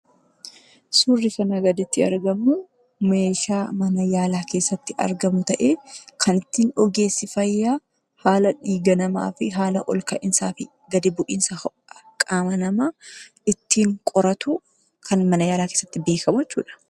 Suurri kanaa gaditti argamu meeshaa mana yaalaatti argamu ta'ee kan ittiin ogeessi fayyaa haala olka'iinsa dhiiga namaa fi olka'iinsa akkasumas gadi bu'iinsa ho'a tokkoo ittiin safaruu dha.